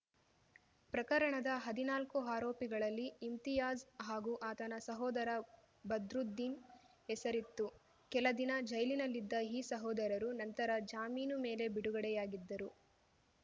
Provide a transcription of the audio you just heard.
ಪ್ರಕರಣದ ಹದಿನಾಲ್ಕು ಆರೋಪಿಗಳಲ್ಲಿ ಇಮ್ತಿಯಾಸ್‌ ಹಾಗೂ ಆತನ ಸಹೋದರ ಬದ್ರುದ್ದೀನ್‌ ಹೆಸರಿತ್ತು ಕೆಲ ದಿನ ಜೈಲಿನಲ್ಲಿದ್ದ ಈ ಸಹೋದರರು ನಂತರ ಜಾಮೀನು ಮೇಲೆ ಬಿಡುಗಡೆಯಾಗಿದ್ದರು